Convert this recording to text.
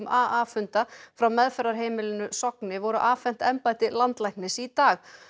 a funda frá meðferðarheimilinu Sogni voru afhent embætti landlæknis í dag